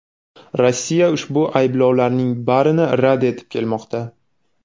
Rossiya ushbu ayblovlarning barini rad etib kelmoqda.